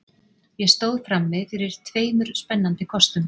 Ég stóð frammi fyrir tveimur spennandi kostum.